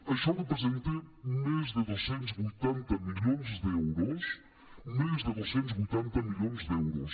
això representa més de dos cents i vuitanta milions d’euros més de dos cents i vuitanta milions d’euros